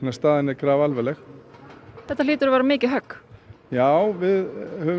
staðan er graf alvarleg h þetta hlýtur að vera mikið högg j já við höfum